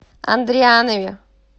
андрианове